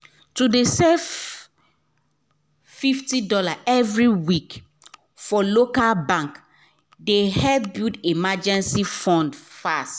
to dey save fifty dollarsevery week for local bank dey help build emergency fund fast